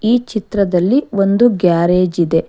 ಈ ಚಿತ್ರದಲ್ಲಿ ಒಂದು ಗ್ಯಾರೇಜ್ ಇದೆ.